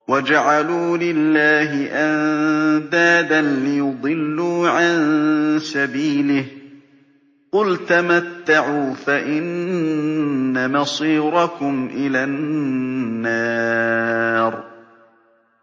وَجَعَلُوا لِلَّهِ أَندَادًا لِّيُضِلُّوا عَن سَبِيلِهِ ۗ قُلْ تَمَتَّعُوا فَإِنَّ مَصِيرَكُمْ إِلَى النَّارِ